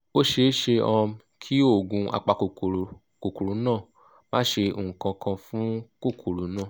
ó ṣeé ṣe um kí oògùn apakòkòrò kòkòrò náà má ṣe nǹkan kan fún kòkòrò náà